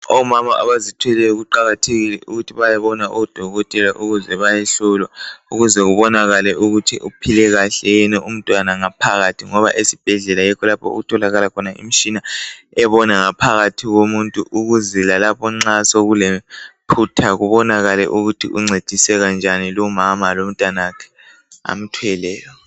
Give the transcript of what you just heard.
Omama abazithweleyo kuqakathekile ukuthi bayebona odokotela. Ukuze bayehlolwa. Ukuze kubonakale ukuthi uphile kahle yini umntwana ngaphakathi, ngoba esibhedlela yikho lapho okutholakala khona imitshina, ebona ngaphakathi komuntu. Ukuze lalapho nxa sekulephutha, kubonakale ukuthi uncediseka njani lumama, lomntanakhe. Amthweleyo.